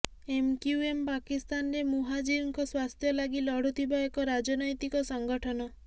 MQM ପାକିସ୍ତାନରେ ମୁହାଜିରଙ୍କ ସ୍ୱାର୍ଥ୍ୟ ଲାଗି ଲଢୁଥିବା ଏକ ରାଜନୈତିକ ସଙ୍ଗଠନ